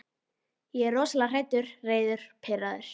Ég er rosalega hræddur, reiður, pirraður.